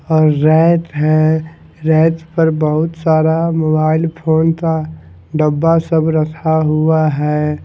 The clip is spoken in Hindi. और रेफ है रेफ पर बहुत सारा मोबाइल फ़ोन का डब्बा सब रखा हुआ है।